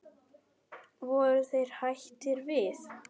Voru þeir hættir við?